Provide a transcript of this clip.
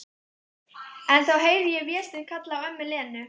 En heyri þá Véstein kalla á ömmu Lenu.